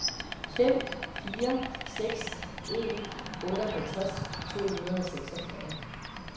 fem fire seks en otteoghalvtreds to hundrede og seksogfyrre